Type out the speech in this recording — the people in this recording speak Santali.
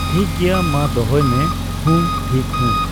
ᱴᱷᱤᱠᱜᱮᱭᱟ ᱢᱟ ᱫᱚᱦᱚᱭ ᱢᱮ ᱾ ᱦᱩᱸ ᱴᱷᱤᱠ ᱦᱩᱸ᱾